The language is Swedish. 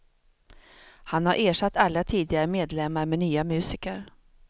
Han har ersatt alla tidigare medlemmar med nya musiker.